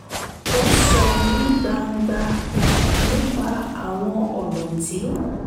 ó sọ̀ ní gbangba nípa àwọn ọ̀nà tí